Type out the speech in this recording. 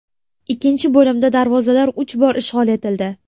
Ikkinchi bo‘limda darvozalar uch bor ishg‘ol etildi.